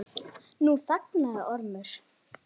Nú þagnaði Ormur.